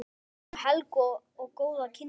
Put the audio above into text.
Við þökkum Helgu góð kynni.